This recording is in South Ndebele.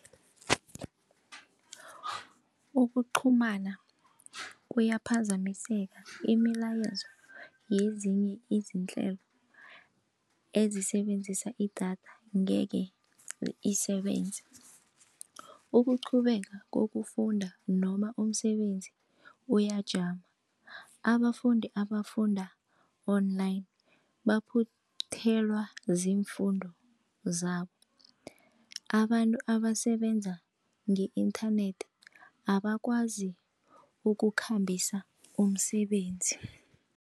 Ukuqhumana kuyaphazamiseke, imilayezo yezinye izinto izinhlelo ezisebenzisa idatha ngeke isebenze. Ukuqhubeka kokufunda noma umsebenzi uyajama, abafundi abafunda-online baphuthelwa ziimfundo zabo, abantu abasebenza nge-internet abakwazi ukukhambisa umsebenzi.